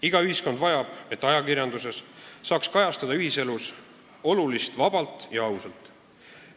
Iga ühiskond vajab seda, et ajakirjandus saaks kajastada ühiselus olulist vabalt ja ausalt.